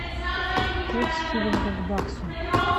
курс шиллинга к баксу